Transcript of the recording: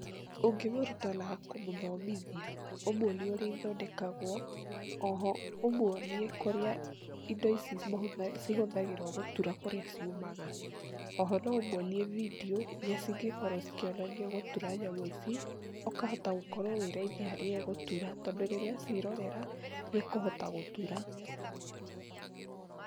Ũngĩmũruta na kũmũthomithia, ũmwonie ũrĩa ithondekagwo, oho ũmwonie kũrĩa indo ici mahutha cihũthagĩrwo gũtura kũrĩa ciumaga, oho no ũmwonie bindiũ iria cingĩkorwo cikĩonania gũtura nyamũ ici, ũkahota gũkorwo wĩ raithi harĩ we gũtura tondũ rĩrĩa aciĩrorera nĩekũhota gũtura.